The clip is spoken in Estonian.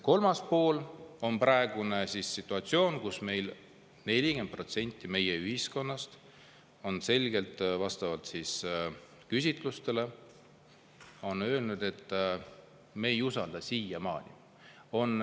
Kolmas pool on praegune situatsioon, kus 40% meie elanikest on selgelt küsitlustes öelnud, et nad ei usalda neid valimisi.